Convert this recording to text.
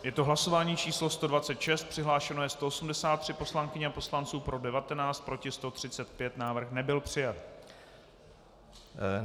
Je to hlasování číslo 126, přihlášeno je 183 poslankyň a poslanců, pro 19, proti 135, návrh nebyl přijat.